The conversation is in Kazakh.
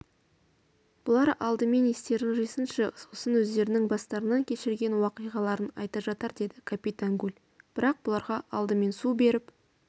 бұлар алдымен естерін жинасыншы сосын өздерінің бастарынан кешірген уақиғаларын айта жатар деді капитан гульбірақ бұларға алдымен су беріп